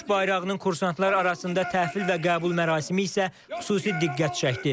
Döyüş bayrağının kursantlar arasında təhvil və qəbul mərasimi isə xüsusi diqqət çəkdi.